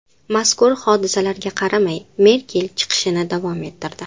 Mazkur hodisaga qaramay, Merkel chiqishini davom ettirdi.